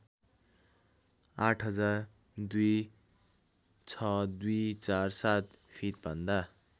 ८००० २६२४७ feet भन्दा